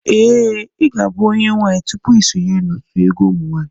Ee, I ga-abụ onye nwaanyị tupu ị sonyere otu egwu ụmụnwaanyị